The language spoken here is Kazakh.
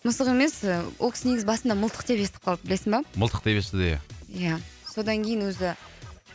мысық емес ол кісі негізі басында мылтық деп естіп қалды білесің ба мылтық деп естіді ия ия содан кейін өзі